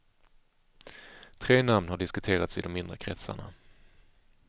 Tre namn har diskuterats i de inre kretsarna.